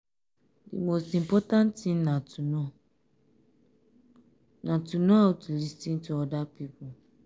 di most important thing na to know na to know how to first lis ten to di oda person